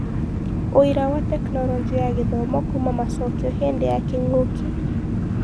ũira wa Tekinoronjĩ ya Gĩthomo kuuma macokio hĩndĩ ya kĩng'ũki